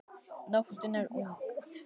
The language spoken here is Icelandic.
Nóttin er ung